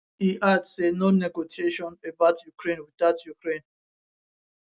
e add say no negotiation about ukraine witout ukraine